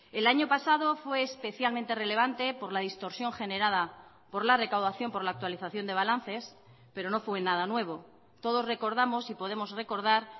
el año pasado fue especialmente relevante por la distorsión generada por la recaudación por la actualización de balances pero no fue nada nuevo todos recordamos y podemos recordar